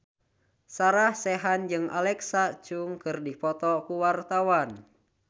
Sarah Sechan jeung Alexa Chung keur dipoto ku wartawan